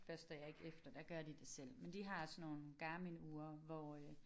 Børster jeg ikke efter der gør de det selv men de har sådan nogle Garmin ure hvor øh